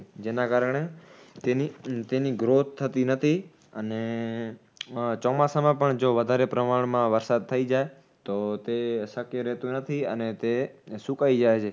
જેના કારણે તેની તેની growth થતી નથી અને ચોમાસામાં પણ જો વધારે પ્રમાણમાં વરસાદ થઈ જાય તો તે શક્ય રેહતું નથી અને તે સુકાય જાય છે